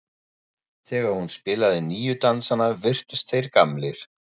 Þegar hún spilaði nýju dansana virtust þeir gamlir.